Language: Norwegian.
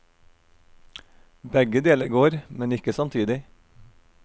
Begge deler går, men ikke samtidig.